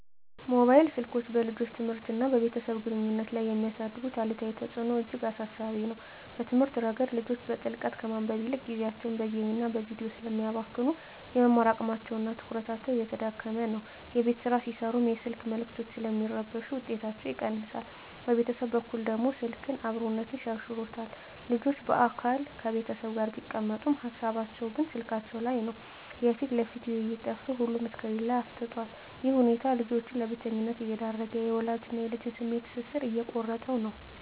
ሞባይል ስልኮች በልጆች ትምህርትና በቤተሰብ ግንኙነት ላይ የሚያሳድሩት አሉታዊ ተጽዕኖ እጅግ አሳሳቢ ነው። በትምህርት ረገድ፣ ልጆች በጥልቀት ከማንበብ ይልቅ ጊዜያቸውን በጌምና በቪዲዮ ስለሚያባክኑ፣ የመማር አቅማቸውና ትኩረታቸው እየተዳከመ ነው። የቤት ሥራ ሲሠሩም የስልክ መልዕክቶች ስለሚረብሹ ውጤታቸው ይቀንሳል። በቤተሰብ በኩል ደግሞ፣ ስልክ "አብሮነትን" ሸርሽሮታል። ልጆች በአካል ከቤተሰብ ጋር ቢቀመጡም፣ ሃሳባቸው ግን ስልካቸው ላይ ነው። የፊት ለፊት ውይይት ጠፍቶ ሁሉም ስክሪን ላይ አፍጥጧል። ይህ ሁኔታ ልጆችን ለብቸኝነት እየዳረገ፣ የወላጅና ልጅን የስሜት ትስስር እየቆረጠው ነው።